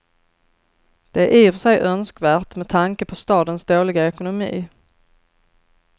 Det är i och för sig önskvärt med tanke på stadens dåliga ekonomi.